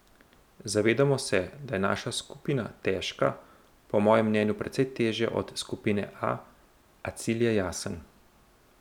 Zavedamo se, da je naša skupina težka, po mojem mnenju precej težja od skupine A, a cilj je jasen.